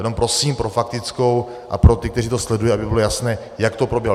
Jenom prosím pro faktickou a pro ty, kteří to sledují, aby bylo jasné, jak to proběhlo.